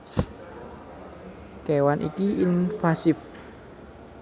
Kewan iki invasiv